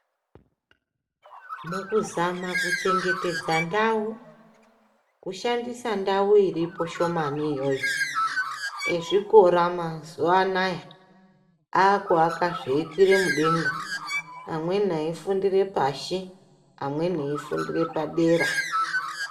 Mukuzama kuchengetedza ndau, kushandisa ndau iripo shomani iyoyo mezvikora mazuwa anaya akuaka zveikwira mudenga .Amweni eifundira pashi amweni eifundira padera